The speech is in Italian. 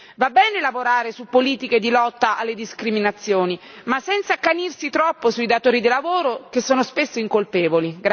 Va bene lavorare su politiche di lotta alle discriminazioni, ma senza accanirsi troppo sui datori di lavoro, che sono spesso incolpevoli.